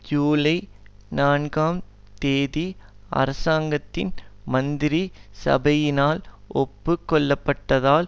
ஜூலை நான்காம் தேதி அரசாங்கத்தின் மந்திரி சபையினால் ஒப்பு கொள்ளப்பட்டதால்